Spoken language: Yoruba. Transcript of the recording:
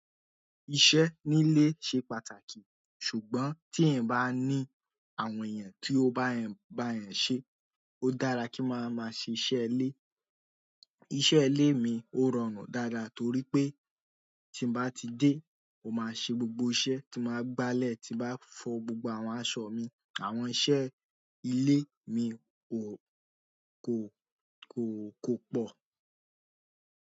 Iṣẹ́ nílé ṣe pàtàkì, ṣùgbọ́n tí èèyàn bá ní àwọn èèyàn tí ó bá eeyan bá èèyàn ṣe, ó dára kí máa máa ṣe iṣẹ́ ilé. Iṣẹ́ ilé mi ó rọrùn dáadáa torí pé tí ń bá ti dé, mo máa ṣe gbogbo iṣẹ́ tí máa gbálẹ̀ tí bá fọ gbogbo àwọn aṣọ mi. Àwọn iṣẹ́ ilé mi kò, kò, kò, kò pọ̀.